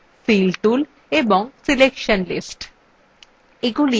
এই toolsগুলি toolsfill tool selection lists